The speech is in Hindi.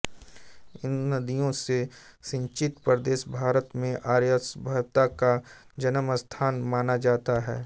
इन नदियों से सिंचित प्रदेश भारत में आर्यसभ्यता का जन्मस्थान माना जाता है